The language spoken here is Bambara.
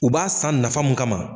U b'a san nafa mu kama